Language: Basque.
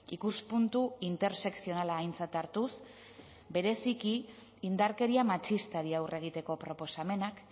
ikuspuntu intersekzionala aintzat hartuz bereziki indarkeria matxistari aurre egiteko proposamenak